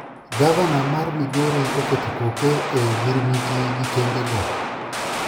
Gavana mar migori oketo koke e ogirmiti gi kembe go